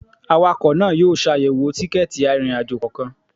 Awakọ̀ náà yóò ṣàyẹ̀wò tikẹ́ẹ̀tì arìnrìn-àjò kọ̀ọ̀kan